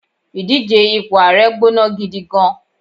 idije ipo ààrẹ gbóná gidi gan